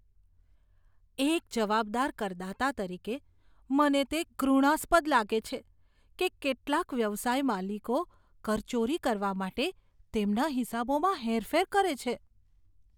એક જવાબદાર કરદાતા તરીકે, મને તે ઘૃણાસ્પદ લાગે છે કે કેટલાક વ્યવસાય માલિકો કરચોરી કરવા માટે તેમના હિસાબોમાં હેરફેર કરે છે.